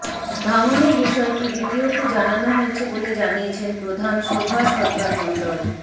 ভাঙনের বিষয়টি বিডিওকে জানানো হয়েছে বলে জানিয়েছেন প্রধান শোভা সরকার মণ্ডল